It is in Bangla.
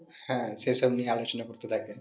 হ্যাঁ সে সব নিয়ে আলোচনা করতে থাকে